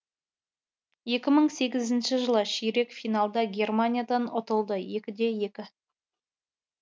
екі мың сегізінші жылы ширек финалда германиядан ұтылды екі де екі